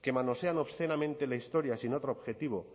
que manosean obscenamente la historia sin otro objetivo